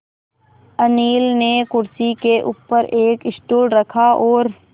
अनिल ने कुर्सी के ऊपर एक स्टूल रखा और